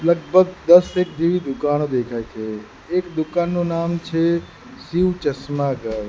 લગભગ દસ એક જેવી દુકાનો દેખાય છે એક દુકાનનું નામ છે શિવ ચશ્મા ઘર.